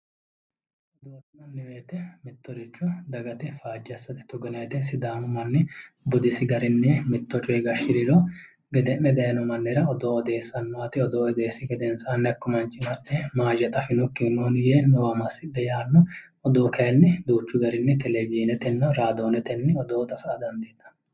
Odoo yinanni woyte mittoricho faaje assate ,togo yinnanni woyte sidaamu manni budisi garinni mitto coye gashiriro gede'ne daayino mannira odoo odeessano odoote gedensanni hakku manchi mahooyyexa anfokkihu nooya yee "noowa massidhe yaanno odoo kayinni duuchu garinni televisionetenna radioneteni odoo saysa dandiinanni